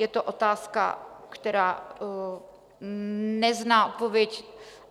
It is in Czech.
Je to otázka, která nezná odpověď